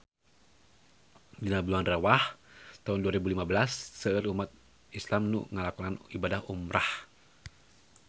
Dina bulan Rewah taun dua rebu lima belas seueur umat islam nu ngalakonan ibadah umrah